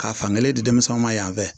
Ka fan kelen di denmisɛnnu ma yan fɛ